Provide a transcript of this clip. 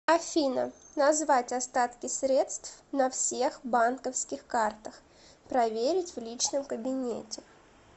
афина назвать остатки средств на всех банковских картах проверить в личном кабинете